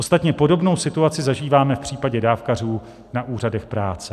Ostatně podobnou situaci zažíváme v případě dávkařů na úřadech práce.